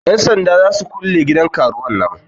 Yan sanda za su kulle gidan karuwan nan.